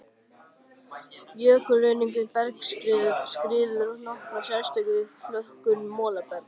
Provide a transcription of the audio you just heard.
Jökulruðningur, bergskriður og skriður hafa nokkra sérstöðu við flokkun molabergs.